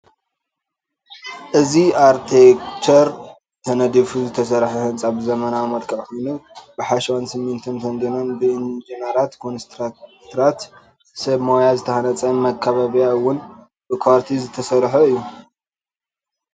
እዚ ኣርቴክቸር ተደዲፉ ዝተሰርሐ ህንፃ ብዘመናዊ መልክዕ ኮይኑ ብሓሸዋን ስሚቶን ተዲኖን ብኢጅነራት ኮትራክተራት ሰብ ሞያ ዝተሃነፀ መካበብያ እውን ብኳርቲዝ ተሰርሑ እዩ።